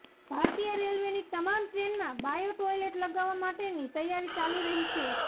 ભારતીય રેલવેની તમામ ટ્રેનમાં બાયો ટોઈલેટ લગાવવા માટેની તૈયારી ચાલી રહી છે